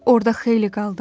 Orda xeyli qaldım.